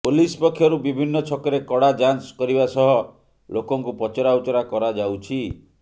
police ପକ୍ଷରୁ ବିଭିନ୍ନ ଛକରେ କଡ଼ା ଯାଞ୍ଚ କରିବା ସହ ଲୋକଙ୍କୁ ପଚରାଉଚରା କରାଯାଉଛି